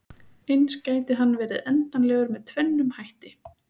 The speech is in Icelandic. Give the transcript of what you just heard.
Eins gæti hann verið endanlegur með tvennum hætti.